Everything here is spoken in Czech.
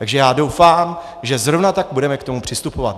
Takže já doufám, že zrovna tak budeme k tomu přistupovat.